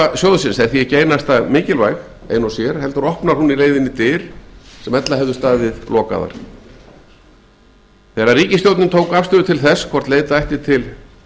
tilkoma sjóðsins er því ekki einasta mikilvæg ein og sér heldur opnar hún í leiðinni dyr sem ella hefðu staðið lokaðar þegar ríkisstjórnin tók afstöðu til þess hvort leita ætti til